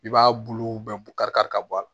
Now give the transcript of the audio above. I b'a bulu bɛɛ bɔ kari kari ka bɔ a la